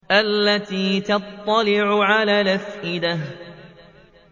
الَّتِي تَطَّلِعُ عَلَى الْأَفْئِدَةِ